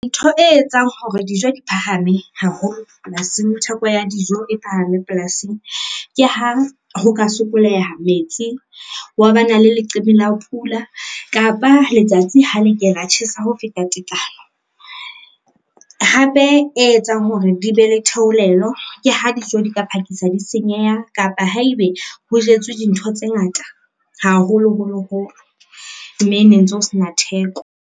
Ntho e etsang hore dijo di phahame haholo polasing, theko ya dijo e phahame polasing ke ha ho ka sokoleha metsi, hwa ba na le leqephe la pula kapa letsatsi ha le ke la tjhesa ho feta tekano. Hape e etsang hore di be le theolelo, ke ha dijo di ka phakisa di senyeha kapa haebe ho jetswe dintho tse ngata haholo holoholo mme ne ntse ho sena theko.